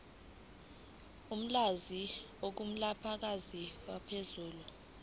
olwandle olunamagagasi aphezulu